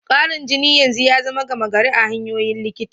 Karan jini yanzu ya zama gama gari a hanyoyin likita.